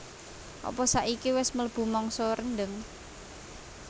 apa saiki wes mlebu mangsa rendheng